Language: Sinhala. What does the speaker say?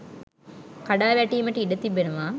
කඩා වැටීමට ඉඩ තිබෙනවා